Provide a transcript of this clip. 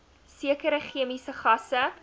sekere chemiese gasse